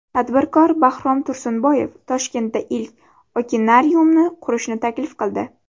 Tadbirkor Bahrom Tursunboyev Toshkentda ilk okenariumni qurishni taklif qildi.